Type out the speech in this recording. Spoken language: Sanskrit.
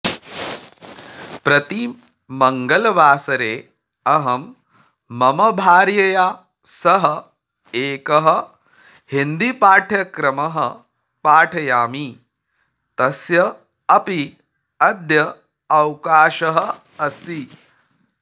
प्रति मङ्गलवासरे अहं मम भार्यया सह एकः हिन्दीपाठ्यक्रमः पाठयामि तस्य अपि अद्य अवकाशः अस्ति